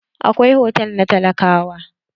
Akwai hotal na talakawa.